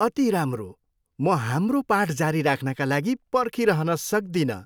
अति राम्रो! म हाम्रो पाठ जारी राख्नका लागि पर्खिरहन सक्दिनँ।